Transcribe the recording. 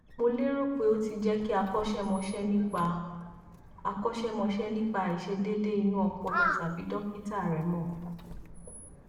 mo lérò pé o ti jẹ kí akọṣẹmọṣẹ nípa akọṣẹmọṣẹ nípa àìṣedéédé inú ọpọlọ tàbí dọkítà rẹ mọ